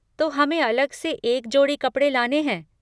तो हमें अलग से एक जोड़ी कपड़े लाने हैं।